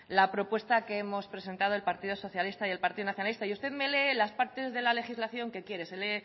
la propuesta que hemos presentado el partido socialista y el partido nacionalista y usted me lee las partes de la legislación que quiere